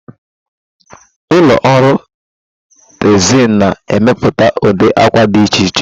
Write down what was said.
Ụlọ ọrụ tezịl na-emepụta ụdị akwa dị iche iche.